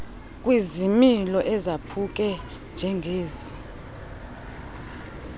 kwizimilo ezaphuke njengezi